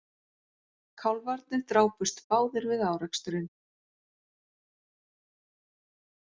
Kálfarnir drápust báðir við áreksturinn